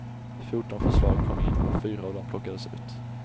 Fjorton förslag kom in och fyra av dem plockades ut.